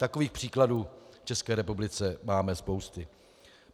Takových příkladů v České republice máme spousty.